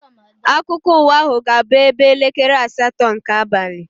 Akụkọ ụwa ahụ ga-abụ ebe elekere asatọ nke abalị.